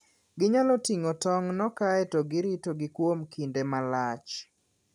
Ginyalo ting'o tong'go kae to giritogi kuom kinde malach.